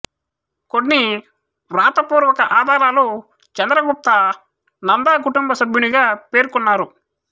కొన్ని వ్రాతపూర్వక ఆధారాలు చంద్రగుప్త నందా కుటుంబ సభ్యునిగా పేర్కొన్నారు